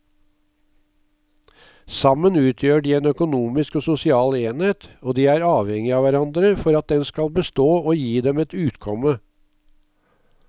Sammen utgjør de en økonomisk og sosial enhet og de er avhengige av hverandre for at den skal bestå og gi dem et utkomme.